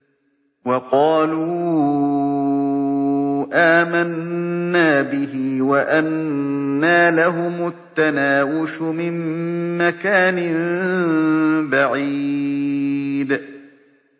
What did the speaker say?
وَقَالُوا آمَنَّا بِهِ وَأَنَّىٰ لَهُمُ التَّنَاوُشُ مِن مَّكَانٍ بَعِيدٍ